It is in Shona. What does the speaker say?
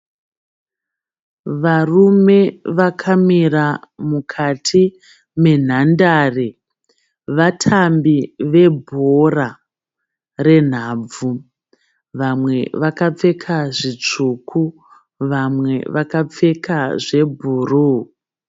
Varume vakamira mukati menhandare. Vatambi vebhora renhabvu. Vamwe vakapfeka zvitsvuku vamwe vakapfeka zvebhuruu.